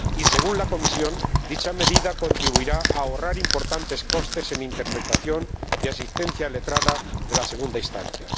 Según la Comisión, dicha medida contribuirá a ahorrar importantes costes en interpretación y asistencia letrada en la segunda instancia.